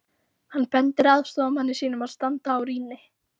Hann bendir aðstoðarmanni sínum að standa á rýni.